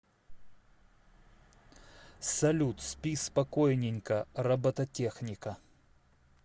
салют спи спокойненько робототехника